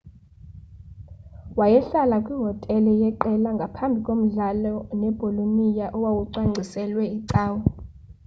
wayehlala kwihotele yeqela ngaphambi komdlalo nebolonia owawucwangciselwe icawe